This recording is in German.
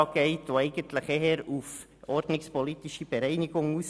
Denn dieser ist eigentlich eher auf eine ordnungspolitische Bereinigung aus.